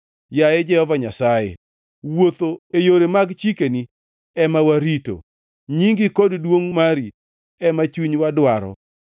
Yaye Jehova Nyasaye, wuotho e yore mag chikeni ema warito, nyingi kod duongʼ mari ema chunywa dwaro.